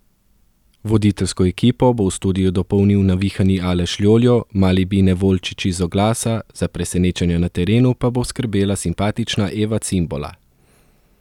Voditeljsko ekipo bo v studiu dopolnil navihani Aleš Ljoljo, mali Bine Volčič iz oglasa, za presenečenja na terenu pa bo skrbela simpatična Eva Cimbola.